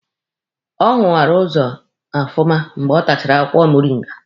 Ọ hụwara ụzọ ofụma mgbe ọ tachara akwụkwọ moringa.